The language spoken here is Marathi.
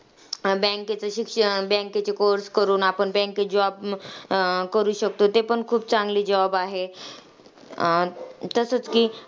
Bank चे शिक्षण, bank चे course करून आपण bank मध्ये job म अं करू शकतो, ते पण खूप चांगली job आहे. अं तसंच की,